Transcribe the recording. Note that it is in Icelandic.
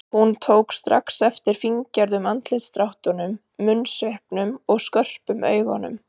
Hún tók strax eftir fíngerðum andlitsdráttunum, munnsvipnum og skörpum augunum.